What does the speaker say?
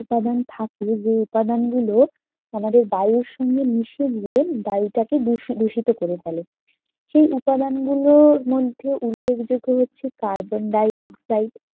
উপাদান থাকে যে উপাদান গুলো আমাদের বায়ুর সঙ্গে মিশে গিয়ে বায়ুটাকে দূষিত করে ফেলে। সেই উপাদান গুলোর মধ্যে উল্লেখযোগ্য হচ্ছে কার্বন ডাই অক্সাইড